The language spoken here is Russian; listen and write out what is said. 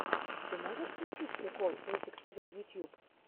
ты можешь включить прикол русик тв ютьюб